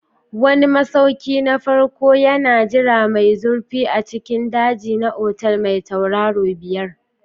Wani masauki na farko yana jira mai zurfi a cikin daji na otal mai tauraro biyar.